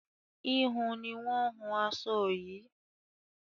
híhun ni wọn hun aṣọ yìí